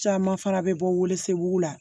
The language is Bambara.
Caman fana bɛ bɔ weelew la